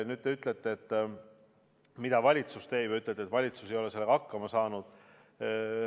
Nüüd te küsite, mida valitsus teeb, ja ütlete, et valitsus ei ole sellega hakkama saanud.